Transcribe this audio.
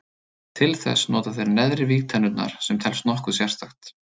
Til þess nota þeir neðri vígtennurnar sem telst nokkuð sérstakt.